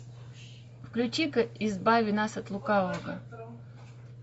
включи ка избави нас от лукавого